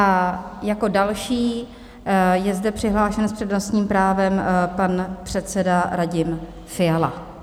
A jako další je zde přihlášen s přednostním právem pan předseda Radim Fiala.